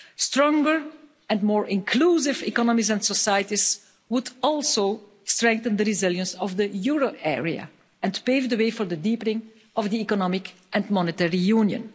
Stronger and more inclusive economies and societies would also strengthen the resilience of the euro area and pave the way for the deepening of the economic and monetary union.